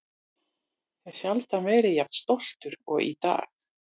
Hef sjaldan verið jafn stoltur og í dag!